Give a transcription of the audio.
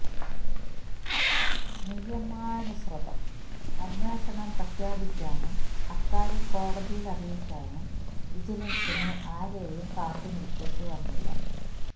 നിയമാനുസൃതം അന്വേഷണം പ്രഖ്യാപിക്കാനും അക്കാര്യം കോടതിയില് അറിയിക്കാനും വിജിലന്സിന് ആരെയും കാത്തുനില്ക്കേണ്ടിവന്നില്ല